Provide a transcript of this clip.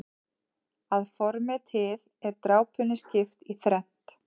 Að formi til er drápunni skipt í þrennt.